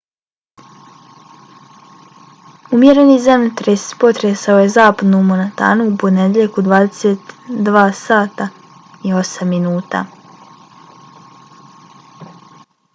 umjereni zemljotres potresao je zapadnu montanu u ponedjeljak u 22:08 sati